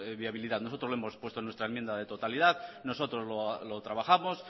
viabilidad nosotros lo hemos puesto en nuestra enmienda de totalidad nosotros lo trabajamos